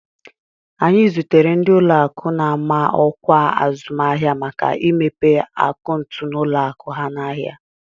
Anyị zụtere ndị ụlọakụ na-ama ọkwa azụmahịa maka imepe akaụntụ n'ụlọakụ ha n'ahịa